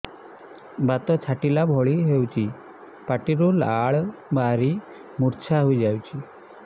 ବାତ ଛାଟିଲା ଭଳି ହଉଚି ପାଟିରୁ ଲାଳ ବାହାରି ମୁର୍ଚ୍ଛା ହେଇଯାଉଛି